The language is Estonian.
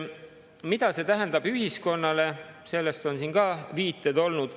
Mida see tähendab ühiskonnale, selle kohta on siin ka viiteid olnud.